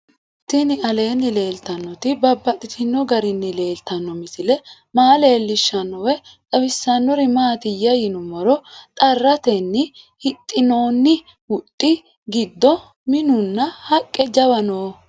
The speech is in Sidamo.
Tinni aleenni leelittannotti babaxxittinno garinni leelittanno misile maa leelishshanno woy xawisannori maattiya yinummoro xarattenni hixxinnonni huxxi gidoo minunna haqqu jawu noo